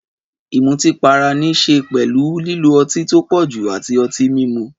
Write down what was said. Ìmutípara ní í ṣe pẹ̀lú lílo ọtí tó pọ̀jù àti ọtí mímu.